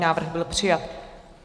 Návrh byl přijat.